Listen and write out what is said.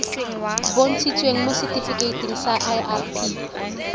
bontshitsweng mo setifikeiting sa irp